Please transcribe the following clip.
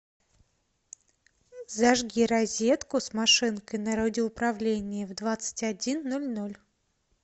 зажги розетку с машинкой на радиоуправлении в двадцать один ноль ноль